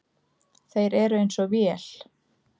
Þeir eru eins og vél.